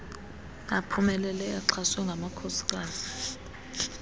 aphumeleleyo axhaswe ngamakhosikazi